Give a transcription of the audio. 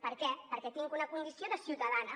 per què perquè tinc una condició de ciutadana